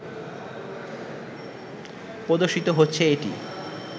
প্রদর্শিত হচ্ছে এটি